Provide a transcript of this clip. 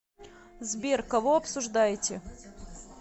сбер кого обсуждаете